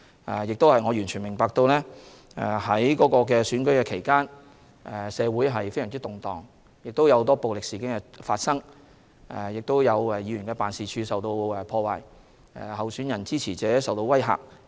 我亦完全明白在選舉期間，社會非常動盪，發生很多暴力事件，不少議員辦事處遭破壞，候選人和支持者受威嚇。